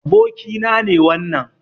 Abokina ne wannan.